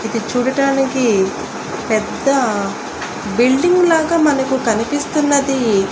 ఇది చూడటానికి పెద్ద బిల్డింగ్ లాగా మనకు కనిపిస్తున్నది.